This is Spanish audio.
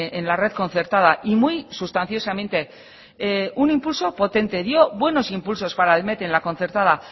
en la red concertada y muy sustanciosamente un impulso potente dio buenos impulsos para el met en la concertada